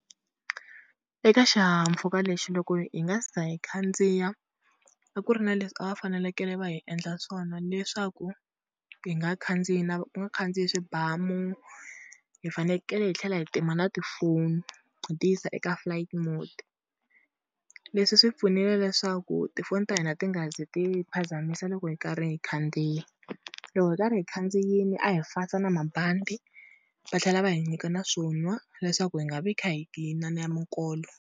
Eka xihahampfhuka lexi loko hi nga se za hi khandziya, a ku ri na leswi a va fanelekele va hi endla swona leswaku hi nga khandziyi na ku nga khandziyi swibamu. Hi fanekele hi tlhela hi tima na tifoni hi ti yisa eka flight mode, leswi swi hi pfunile leswaku tifoni ta hina ti nga zi ti hi phazamiseka loko hi karhi hi khandziyi. Loko hi karhi hi khandziyile a hi fasa na mabandi, va tlhela va hi nyika na swo nwa leswaku hi nga vi kha hi mikolo.